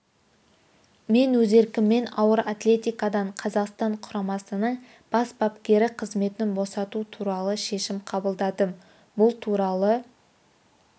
мен өз еркіммен ауыр атлетикадан қазақстан құрамасының бас бапкері қызметін босату туралы шешім қабылдадым бұл туралы